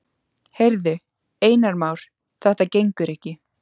Heyrðu, Einar Már, þetta gengur ekki.